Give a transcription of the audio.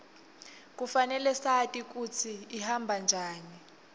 kufanele sati kutsi ihamba njani